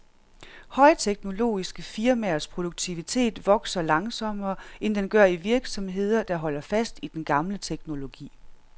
Højteknologiske firmaers produktivitet vokser langsommere, end den gør i virksomheder, der holder fast i den gamle teknologi.